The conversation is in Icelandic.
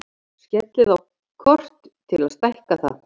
Smellið á kort til að stækka það.